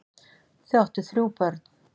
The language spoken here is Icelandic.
Þau áttu þrjú börn.